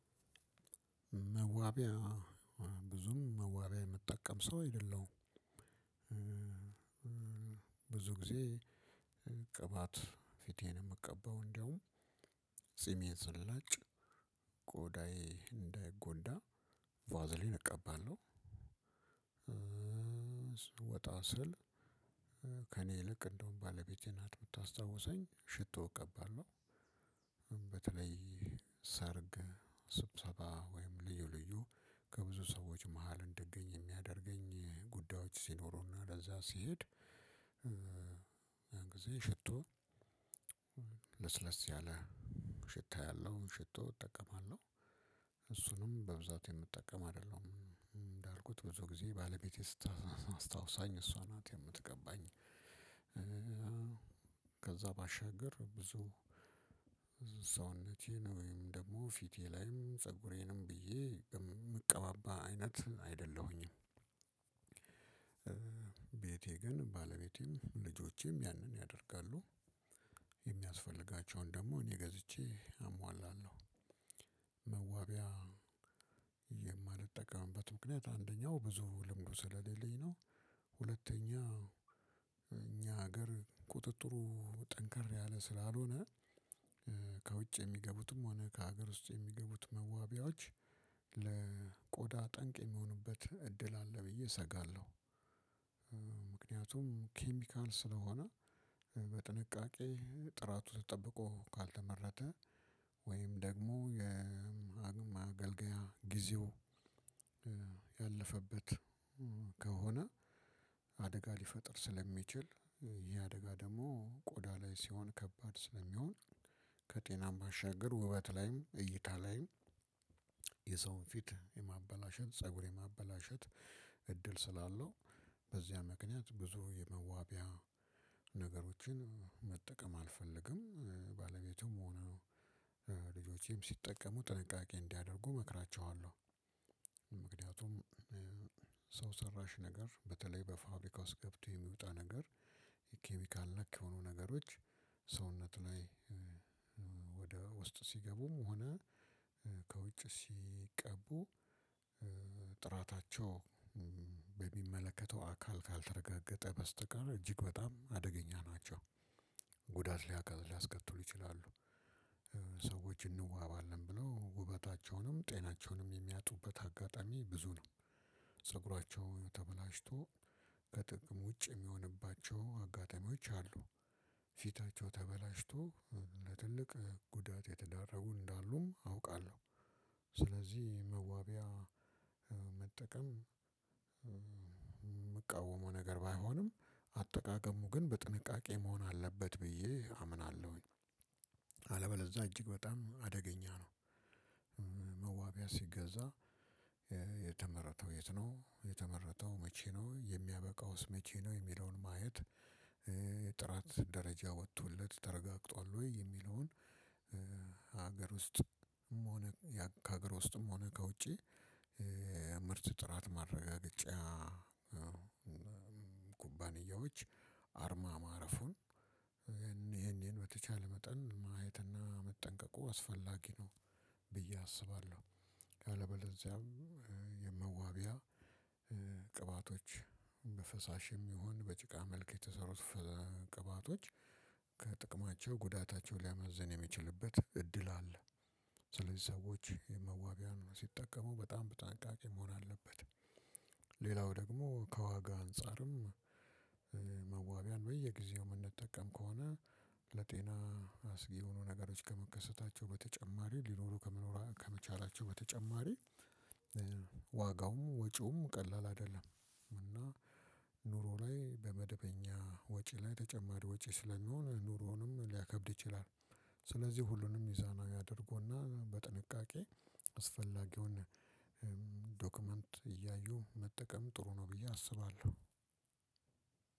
መዋቢያ ብዙም መዋቢያ የምጠቀም ሰው አይደለሁም። ብዙ ጊዜ ቅባት ፊቴን የምቀባው እንደውም ጺሜ ስላጭ ቆዳዬ እንዳይጎዳ ቫዝሊን እቀባለሁ። ወጣ ስል ከእኔ ይልቅ እንደውም ባለቤቴ ናት ምታስታውሰኝ ሽቶ እቀባለሁ። በተለይ ሰርግ ስብሰባ ወይም ልዩ ልዩ ከብዙ ሰዎች መሃል እንድገኝ የሚያደርገኝ ጉዳዮች ሲኖሩና ለዛ ሲሄድ ያን ጊዜ ሽቶ ለስለስ ያለ ሽታ ያለው ሽቶ እጠቀማለሁ። እሱንም በብዛት የምጠቀም አይደለም እንዳልኩት ብዙ ጊዜ ባለቤቴ ስታስታውሰኝ እሷ ናት የምትቀባኝ። ከዛ ባሻገር ብዙ ሰውነቴን ወይም ደግሞ ፊቴ ላይም ፀጉሬንም ብዬ እቀባባ አይነት አይደለሁኝም። ቤቴ ግን ባለቤቴም ልጆቼም ያንን ያደርጋሉ የሚያስፈልጋቸውን ደግሞ እኔ ገዝቼ አሟላለሁ። መዋቢያ የማልጠቀምበት ምክንያት አንደኛው ብዙ ልምዱ ስለሌለኝ ነው። ሁለተኛ እኛ ሀገር ቁጥጥሩ ጠንከር ያለ ስላልሆነ ከውጭ የሚገቡትም ሆነ ከሀገር ውስጥ የሚገቡት መዋቢያዎች ለቆዳ ጠንቅ የሚሆኑበት እድል አለ ብዬ እሰጋለሁ። ምክንያቱም ኬሚካል ስለሆነ በጥንቃቄ ጥራቱ ጠጠብቆ ካልተመረተ ደግሞ የማገልገያ ጊዜው ያለፈበት ከሆነ አደጋ ሊፈጥር ስለሚችል ይሄ አደጋ ደግሞ ቆዳ ላይ ሲሆን ከባድ ስለሚሆን። ከጤናም ባሻገር ውበት ላይም እይታ ላይም የሰውን ፊት የማበላሸት ፀጉር የማበላሸት እድል ስላለው በዚያ ምክንያት ብዙ የመዋቢያ ነገሮችን መጠቀም አልፈልግም። ባለቤቴም ሆነ ልጆቼም ስጠቀሙ ጥንቃቄ እንዲያደርጉ መክራቸዋለሁ። ምክንያቱም ሰው ሰራሽ ነገር በተለይ በፋብሪካ ውስጥ ገብቶ የሚወጣ ነገር ኬሚካል ነክ የሆኑ ነገሮች ሰውነት ላይ ወደ ውስጥ ሲገቡም ሆነ ከውጭ ሲቀቡ ጥራታቸው በሚመለከተው አካል ካልተረጋገጠ በስተቀር እጅግ በጣም አደገኛ ናቸው። ጉዳት ሊያጋጥ ሊያስከትሉ ይችላሉ። ሰዎች እንዋባለን ብለው ውበታቸውንም ጤናቸውንም የሚያጡበት አጋጣሚ ብዙ ነው። ፀጉራቸው ተበላሽቶ ከጥቅም ውጭ የሚሆንባቸው አጋጣሚዎች አሉ። ፊታቸው ተበላሽቶ ለትልቅ ጉዳት የተደረጉ እንዳሉም አውቃለሁ። ስለዚህ መዋቢያ መጠቀም የምቃወመው ነገር ባይሆንም አጠቃቀሙ ግን በጥንቃቄ መሆን አለበት ብዬ አምናለሁኝ። አለበለዛ እጅግ በጣም አደገኛ ነው። መዋቢያ ሲገዛ የተመረተው የት ነው የተመረተው መቼ ነው የሚያበቃውስ መቼ ነው? የሚለውን ማየት ጥራት ደረጃ ወጥቶለት ተረጋግጧል ወይ የሚለውን? ሀገር ውስጥ ሆነ ከሀገር ውስጥም ሆነ ከውጪ ምርት ጥራት ማረጋገጫ ኩባንያዎች አርማ ማረፉን ይሄን ይሄን በተቻለ መጠን ማየትና መጠንቀቁ አስፈላጊ ነው። ብዬ አስባለሁ። ካለበለዚያም የመዋቢያ ቅባቶች በፈሳሽም ይሁን በጭቃ መልክ የተሰሩ ቅባቶች ከጥቅማቸው ጉዳታቸው ሊያመዝን የሚችልበት እድል አለ። ስለዚህ ሰዎች የመዋብያን ስጠቀሙ በጣም በጥንቃቄ መሆን አለበት። ሌላው ደግሞ ከዋጋ አንፃርም መዋብያን በየጊዜው የምንጠቀም ከሆነ ለጤና አስጊ የሆኑ ነገሮች ከመከሰታቸው በተጨማሪ ሊኖሩ ከመኖራ ከመቻላቸው በተጨማሪ ዋጋውም ወጪውም ቀላል አይደለም። እና ኑሮ ላይ በመደበኛ ወጪ ላይ ተጨማሪ ወጪ ስለሚሆን ኑሮውንም ሊያከብድ ይችላል። ስለዚህ ሁሉንም ሚዛናዊ አድርጎና በጥንቃቄ አስፈላጊውን ዶክመንት እያዩ መጠቀም ጥሩ ነው ብዬ አስባለሁ።